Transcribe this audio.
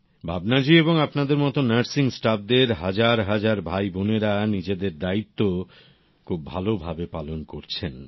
ভাবনা জী এবং আপনাদের মত নার্সিং স্টাফ দের হাজার হাজার ভাই বোনেরা নিজেদের দায়িত্ব খুব ভালোভাবে পালন করছেন